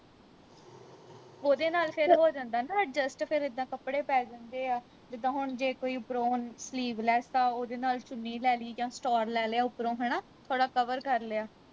ਓਹਦੇ ਨਾਲ ਫਿਰ ਹੋ ਜਾਂਦਾ ਨਾ adjust ਫਿਰ ਇੱਦਾਂ ਕੱਪੜੇ ਪੈ ਜਾਂਦੇ ਆ ਜਿੱਦਾ ਹੁਣ ਜੇ ਕੋਈ ਓਪਰੋਂ sleeveless ਆ ਓਹਦੇ ਨਾਲ ਚੁੰਨੀ ਲੈ ਲੀ ਜਾਂ stole ਲੈ ਲਿਆ ਉਪਰੋਂ ਹਣਾ ਥੋੜਾ ਥੋੜਾ cover ਕਰ ਲਿਆ